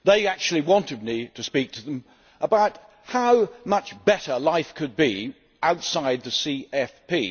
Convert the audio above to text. They wanted me to speak to them about how much better life could be outside the CFP.